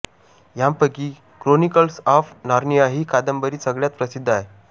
यांपैकी Chronicles of Narnia ही कादंबरी सगळ्यात प्रसिद्ध आहे